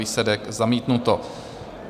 Výsledek: zamítnuto.